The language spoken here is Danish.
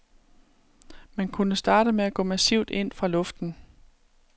Man kunne starte med at gå massivt ind fra luften.